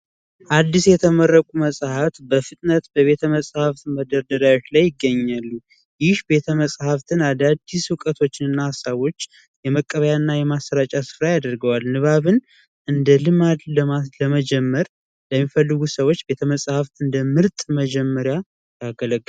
አዲስ የተመረቁ መጻህፍት በፍጥነት በቤተ መጻሕፍት መደርደሪያዎች ላይ ይገኛሉ። ይህ ቤተ-መጽሐፍት አዳዲስ እውቀቶችንና ሐሳቦች የመቀበያና የማሠራጫ ስፍራ ያደርገዋል። ንባብን እንደ ልማድ ለመጀመር ለሚፈልጉ ሰዎች ቤተ መጻህፍት እንደ ምርጥ መጀመሪያ ያገለግላል።